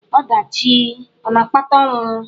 Ọdachi ọ̀ na-akpata ọnwụ?